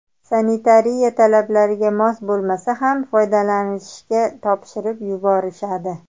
Sanitariya talablariga mos bo‘lmasa ham foydalanishga topshirib yuborishadi.